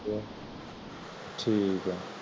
ਠੀਕ ਹੈ